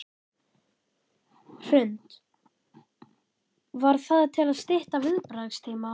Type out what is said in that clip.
Hrund: Var það til að stytta viðbragðstíma?